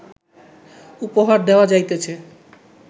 উপহার দেওয়া যাইতেছে